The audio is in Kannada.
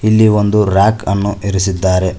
ಇಲ್ಲಿ ಒಂದು ರ್ಯಾಕ್ ಅನ್ನು ಇರಿಸಿದ್ದಾರೆ.